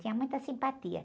Tinha muita simpatia.